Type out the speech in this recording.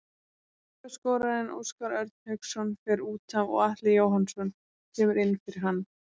Markaskorarinn Óskar Örn Hauksson fer útaf og Atli Jóhannsson kemur inn fyrir hann.